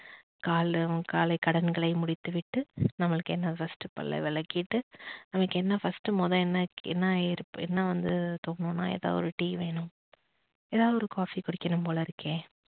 காலைல காலை கடன்களை முடித்துவிட்டு நமக்கு என்ன first பல்ல வலக்கிட்டு நமக்கு என்ன first மோத என்ன இருக்கு என்ன வந்து தோடணும்னா எதாவது ஒரு tea வேணும் ஏதாவது ஒரு coffee குடிக்கணும் போல இருக்கே